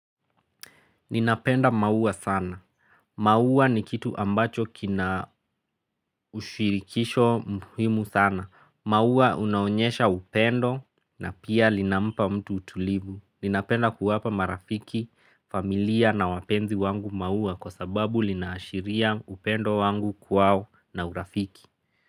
Ninapenda mauwa sana. Mauwa ni kitu ambacho kina ushirikisho muhimu sana. Mauwa unaonyesha upendo na pia linampa mtu utulibu. Ninapenda kuwapa marafiki, familia na wapenzi wangu mauwa kwa sababu linaashiria upendo wangu kuwao na urafiki.